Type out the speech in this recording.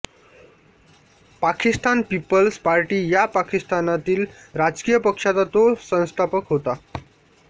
Pakistan peoples party या पाकिस्तानातील राजकीय पक्षाचा तो संस्थापक होता